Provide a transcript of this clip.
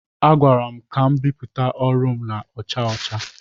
A gwara m ka m bipụta ọrụ m na-acha ọcha.